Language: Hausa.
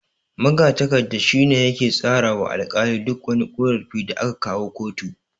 Magatakarda shine yake tsara wa alkali duk wani ƙorafi da aka kawo kotu.